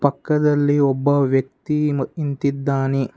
ಪಕ್ಕದಲ್ಲಿ ಒಬ್ಬ ವ್ಯಕ್ತಿ ಮ ನಿಂತಿದ್ದಾನೆ.